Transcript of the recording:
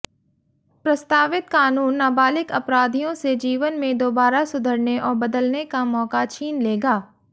प्रस्तावित कानून नाबालिग अपराधियों से जीवन में दोबारा सुधरने और बदलने का मौका छीन लेगा